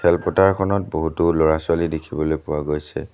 খেলপথাৰ খনত বহুতো ল'ৰা-ছোৱালী দেখিবলৈ পোৱা গৈছে।